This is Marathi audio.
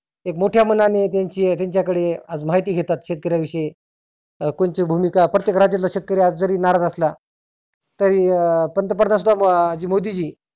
एक मोठ्या मनाने त्यांची त्यांच्या कडे आज माहिती घेतात शेतकर्या विषयी. कोणची भुमिका प्रत्येक राज्यातला शेतकरी आज जरी नाराज असला तरी अं पंतप्रधान सुद्धा मोदी जी